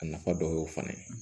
A nafa dɔ y'o fana ye